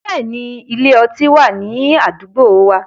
Bẹ́ẹ̀ni, ile- ọti wa ni adugbo wa